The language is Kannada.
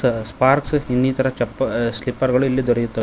ಆ ಸ್ಪಾರ್ಕ್ಸ್ ಇನ್ನಿತರ ಚಪ್ಪ ಆ ಸ್ಲಿಪ್ಪರ್ ಗಳು ಇಲ್ಲಿ ದೊರೆಯುತ್ತ--